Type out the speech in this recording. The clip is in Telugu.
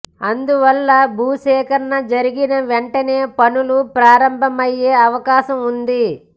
అందువల్ల భూసేకరణ జరిగిన వెంటనే పనులు ప్రారంభమయ్యే అవకాశం వుంది